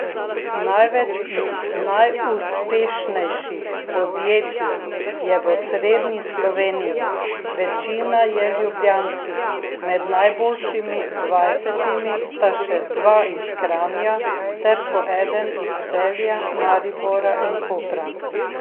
Največ najuspešnejših podjetij je v osrednji Sloveniji, večina je ljubljanskih, med najboljšimi dvajsetimi sta še dva iz Kranja ter po eden iz Celja, Maribora in Kopra.